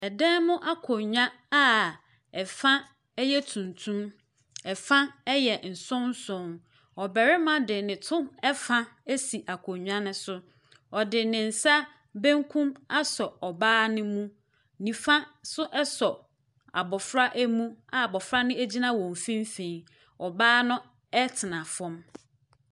Dan mu akonnwa a fa yɛ tuntum, fa yɛ nsonson. Ɔbarima de ne to fa si akonnwa no so. Ɔde ne sa benkum asɔ ɔbaa no mu. Nifa nso sɔ abɔfra mu a abɔfra no gyinma wɔn mfimfini. Ɔbaa no tsena fam.